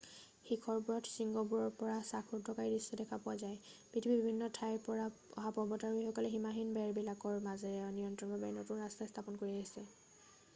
শিখৰবোৰত শৃংগবোৰৰ পৰা শাসৰুদ্ধকাৰী দৃশ্য দেখা পোৱা যায় পৃথিৱীৰ বিভিন্ন ঠাইৰ পৰা অহা পৰ্বতাৰোহিসকলে সীমাহীন বেৰবিলাকৰ মাজেৰে নিৰন্তৰভাৱে নতুন ৰাস্তা স্থাপন কৰি আহিছে